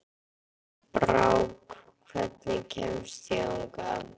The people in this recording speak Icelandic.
Brák, hvernig kemst ég þangað?